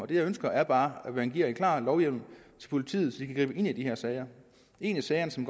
det jeg ønsker er bare at man giver en klar lovhjemmel til politiet så de kan gribe ind i de her sager en af sagerne som